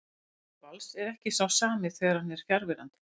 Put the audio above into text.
Sóknarleikur Vals er ekki sá sami þegar hann er fjarverandi.